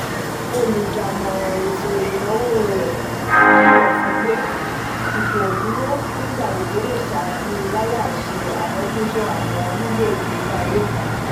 olùdámọ̀ràn ètó ìnáwó rẹ kilọ fun n pe ipoduro n'igbagbogbo le ṣáájú lalai se amojuto awọn lílo ìgbésí ayé kan